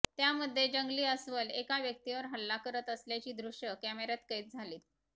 त्यामध्ये जंगली अस्वल एका व्यक्तीवर हल्ला करत असल्याची दृश्यं कॅमेऱ्यात कैद झालीत